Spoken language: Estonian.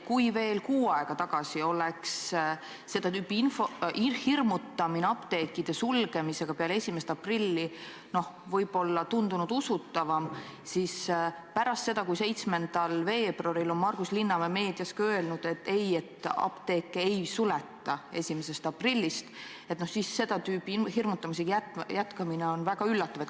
Veel kuu aega tagasi oleks seda tüüpi hirmutamine apteekide sulgemisega peale 1. aprilli tundunud usutavam, aga pärast seda, kui 7. veebruaril on Margus Linnamäe meedias ka öelnud, et apteeke ei suleta 1. aprillist, on seda tüüpi hirmutamisega jätkamine väga üllatav.